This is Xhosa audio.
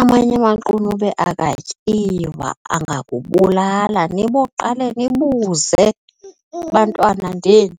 Amanye amaqunube akatyiwa angakubulala. Niboqale nibuze, bantwana ndini.